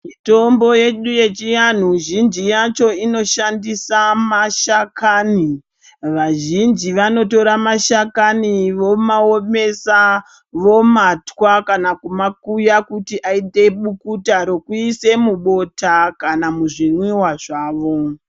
Mitombo yedu yechivantu zhinji yacho inoshanda semashakani vazhinji vanotora mashakani vomaomesa vomatwankana kuma kuya kuti aite mukutanrekuisa mubota kana muzvimwiwa zvawo.